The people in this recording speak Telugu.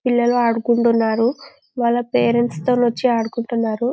పిల్లలు ఆడుకుంటున్నారు వాళ్ల పేరెంట్స్ తో నొచ్చి ఆడుకుంటున్నారు.